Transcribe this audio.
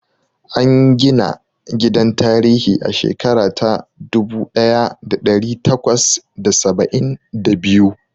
An gina gidan tarihi a shekara ta dubu ɗaya da ɗari takwas da saba'in da biyu.